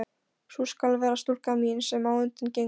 Sú skal vera stúlkan mín, sem á undan gengur.